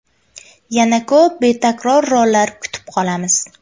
Yana ko‘p betakror rollar kutib qolamiz.